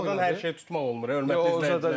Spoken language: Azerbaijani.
Telefon hər şeyi tutmaq olmur, hörmətli izləyicilər.